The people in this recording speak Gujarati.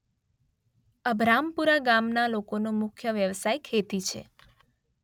અભરામપરા ગામના લોકોનો મુખ્ય વ્યવસાય ખેતી છે.